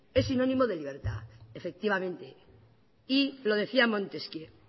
es sinónimo de libertad efectivamente y lo decía montesquieu